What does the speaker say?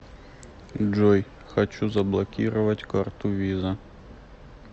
джой хочу заблокировать карту виза